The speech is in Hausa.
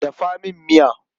Dafa min miya.